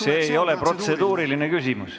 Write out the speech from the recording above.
See ei ole protseduuriline küsimus.